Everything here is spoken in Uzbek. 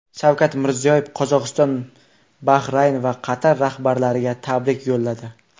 Shavkat Mirziyoyev Qozog‘iston, Bahrayn va Qatar rahbarlariga tabrik yo‘lladi.